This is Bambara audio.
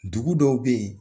Dugu dɔw bɛ yen.